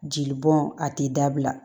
Jeli bɔn a ti dabila